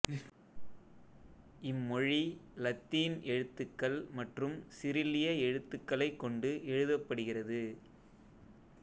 இம்மொழி இலத்தீன் எழுத்துக்கள் மற்றும் சிரில்லிய எழுத்துக்களைக் கொண்டு எழுதப்படுகிறது